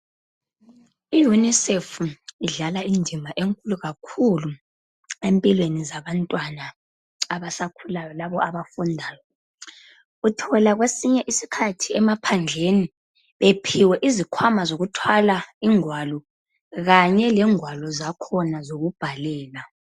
I unisefu idlala indimi enkulu kakhulu empilweni zabantwana abasakhulayo labo abafundayo. Uthola kwesinye isikhathi ephandleni bephiwe izikhwama zokuthwala ingwalo kanye lengwalo zakhona zokubhalela.